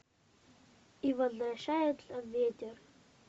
и возвращается ветер